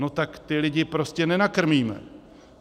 No tak ty lidi prostě nenakrmíme.